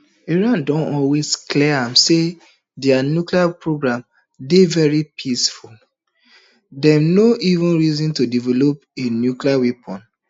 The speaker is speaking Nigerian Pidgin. iran don always clear am say dia nuclear program dey very peaceful and dem no ever reason to develop a nuclear weapon